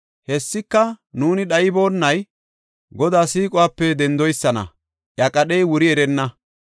Hessika, nuuni dhayboonay Godaa siiquwape dendoysana; iya qadhey wuri erenna.